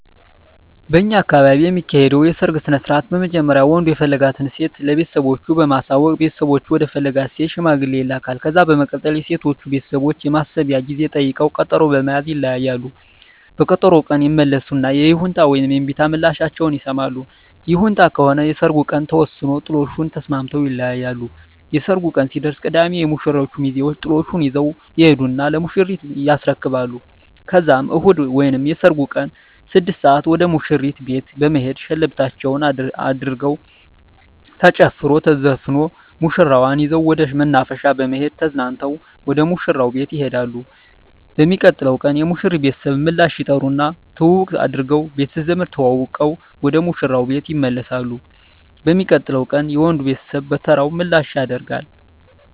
በእኛ አካባቢ የሚካሄደዉ የሰርግ ስነስርአት በመጀመሪያ ወንዱ የፈለጋትን ሴት ለቤተሰቦቹ በማሳወቅ ቤተሰቦቹ ወደ ፈለጋት ሴት ሽማግሌ ይላካል። ከዛ በመቀጠል የሴቶቹ ቤተሰቦች የማሰቢያ ጊዜ ጠይቀዉ ቀጠሮ በመያዝ ይለያያሉ። በቀጠሮዉ ቀን ይመለሱና የይሁንታ ወይም የእምቢታ ምላሻቸዉን ይሰማሉ። ይሁንታ ከሆነ የሰርጉ ቀን ተወስኖ ጥሎሹን ተስማምተዉ ይለያያሉ። የሰርጉ ቀን ሲደርስ ቅዳሜ የሙሽሮቹ ሚዜወች ጥሎሹን ይዘዉ ይሄዱና ለሙሽሪት ያስረክባሉ ከዛም እሁድ ወይም የሰርጉ ቀን 6 ሰአት ወደ ሙሽሪት ቤት በመሄድ ሸለበታቸዉን አድርገዉ ተጨፍሮ ተዘፍኖ ሙሽራዋን ይዘዉ ወደ መናፈሻ በመሄድ ተዝናንተዉ ወደ ሙሽራዉ ቤት ይሄዳሉ። በሚቀጥለዉ ቀን የሙሽሪት ቤተሰብ ምላሽ ይጠሩና ትዉዉቅ አድርገዉ ቤተዘመድ ተዋዉቀዉ ወደ ሙሽራዉ ቤት ይመለሳሉ። በሚቀጥለዉ ቀንም የወንዱ ቤተሰብ በተራዉ ምላሽ ያደ